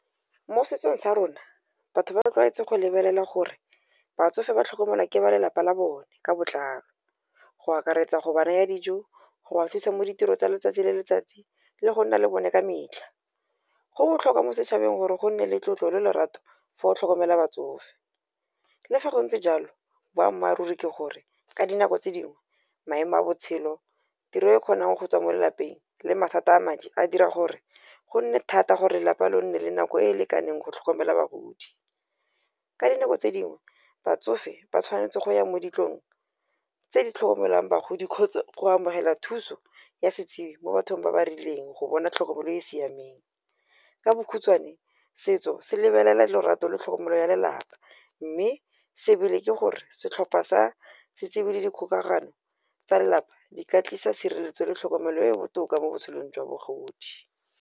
Mo setsong sa rona batho ba rotloetse go lebelela gore batsofe ba tlhokomelwa ke ba lelapa la bone ka botlalo. Go akaretsa gobane ya dijo go wa fisa mo ditirong tsa letsatsi le letsatsi le go nna le bone ka metlha. Go botlhokwa mo setšhabeng gore go nne le tlotlo le lorato fa o tlhokomela batsofe, le fa go ntse jalo boammaaruri ke gore ka dinako tse dingwe maemo a botshelo, tiro e kgonang go tswa mo lelapeng le mathata a madi a dira gore go nne thata gore lapa lo nne le nako e e lekaneng go tlhokomela bagodi. Ka dinako tse dingwe batsofe ba tshwanetse go ya mo ditlong tse di tlhokomelang bagodi gotsa, go amogela thuso ya setsibi mo bathong ba ba rileng go bona tlhokomelo e e siameng. Ka bokhutswane setso se lebelela lorato le tlhokomelo ya lelapa. Mme se ebile ke gore setlhopha sa setsibi le dikgokagano tsa lelapa di ka tlisa tshireletso le tlhokomelo e e botoka mo botshelong jwa bogodi.